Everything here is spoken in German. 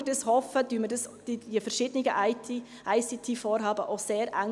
Und weil wir dies hoffen, koordinieren wir die verschiedenen ICT-Vorhaben auch sehr eng.